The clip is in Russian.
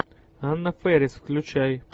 анна фэрис включай